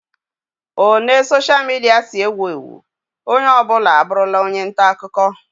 O ne soshia midia si ewu ewu, onye ọ bụla abụrụla onye nta akụkọ